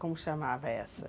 Como chamava essa?